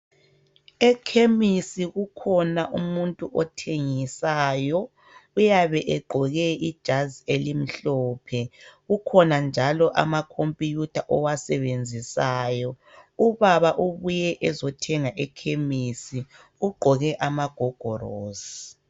Ekhemisi kukhona umuntu othengisayo uyabe egqoke ijazi elimhlophe kukhona njalo amakhompuyutha owasebenzisayo, ubaba ubuye ezothenga ekhemisi ugqoke amagogorosi.